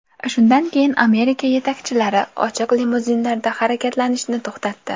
Shundan keyin Amerika yetakchilari ochiq limuzinlarda harakatlanishni to‘xtatdi.